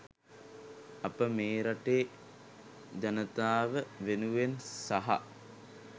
අප මේ රටේ ජනතාව වෙනුවෙන් සහ